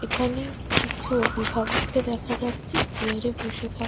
এখানে কিছু অভিভাবককে দেখা যাচ্ছে চেয়ার -এ বসে থাক--